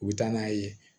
U bɛ taa n'a ye